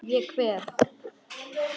Ég kveð.